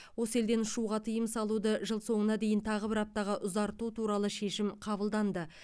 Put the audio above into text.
осы елден ұшуға тыйым салуды жыл соңына дейін тағы бір аптаға ұзарту туралы шешім қабылданды